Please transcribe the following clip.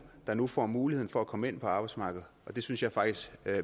der nu får muligheden for at komme ind på arbejdsmarkedet og det synes jeg faktisk